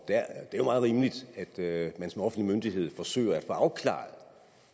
er jo meget rimeligt at man som offentlig myndighed forsøger at få afklaret